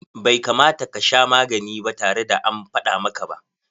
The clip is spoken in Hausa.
Bai kamata ka sha magani ba tare da an faɗa maka ba.